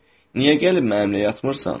Niyə gəlib mənimlə yatmırsan?